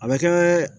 A bɛ kɛ